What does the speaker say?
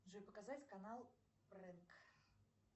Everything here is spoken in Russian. джой показать канал брэнк